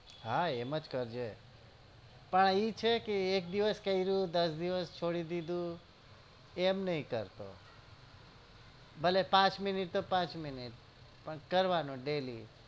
હા એમ જ કરજે પણ આ ઈ છે કે એક દિવસ કર્યું દસ દિવસ છોડી દીધું એમ નઈ કરતો ભલે પાંચ મિનિટ તો પાંચ મિનીટ પણ કરવાનું daily